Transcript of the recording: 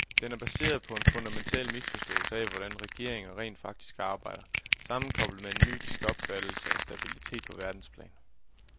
Den er baseret på en fundamental misforståelse af, hvordan regeringer rent faktisk arbejder, sammenkoblet med en mytisk opfattelse af stabilitet på verdensplan.